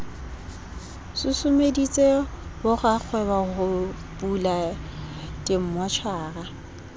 susumeditse borakgwebo ho bula dimmotjhara